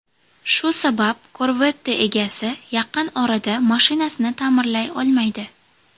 Shu sabab Corvette egasi yaqin orada mashinasini ta’mirlay olmaydi.